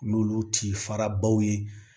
N'olu ti fara baw ye